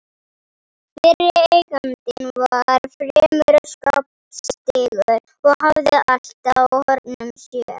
Fyrri eigandinn var fremur skapstyggur og hafði allt á hornum sér.